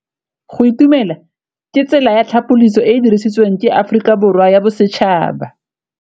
Go itumela ke tsela ya tlhapolisô e e dirisitsweng ke Aforika Borwa ya Bosetšhaba.